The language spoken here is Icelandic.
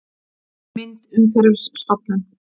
Mynd: Umhverfisstofnun